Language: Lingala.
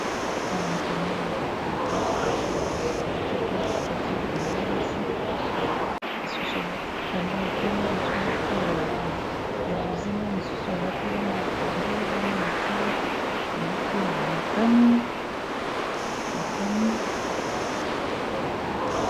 Awa nazo komona tableau na kitoko batie bilenge basi lisusu alati kitamba ya pembe mosu alati ya bozinga mosusu alati lange ya pondu mbongo na se alati ya motani